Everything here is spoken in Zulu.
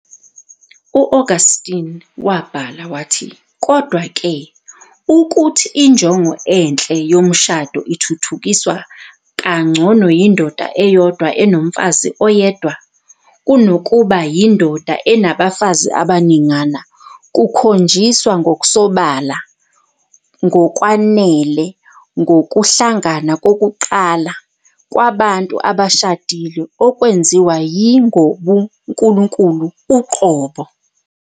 U-Augustine wabhala- "Kodwa-ke, ukuthi injongo enhle yomshado, ithuthukiswa kangcono yindoda eyodwa enomfazi oyedwa, kunokuba yindoda enabafazi abaningana, kukhonjiswa ngokusobala ngokwanele ngokuhlangana kokuqala kwabantu abashadile, okwenziwa yi Ngobunkulunkulu uqobo.